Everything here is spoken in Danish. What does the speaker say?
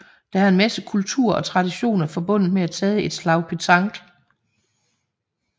Der er en masse kultur og traditioner forbundet med at tage et slag petanque